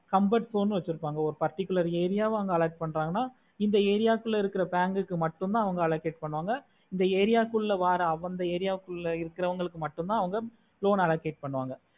comfort zone வெச்சிருக்காங்க ஒரு particular area அங்க alot பண்றங்கனா இந்த area ல இருக்குற bank க்கு மட்டும்தா allocate பண்ணுவாங்க இந்த area குள்ள வர அந்த area குள்ள இருக்குறவங்களுக்கு மட்டும்தா loan allocate பண்ணுவாங்க